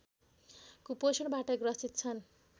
कुपोषणबाट ग्रसित छन्